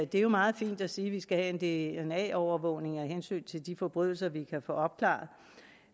det er jo meget fint at sige at vi skal have en dna overvågning af hensyn til de forbrydelser vi kan få opklaret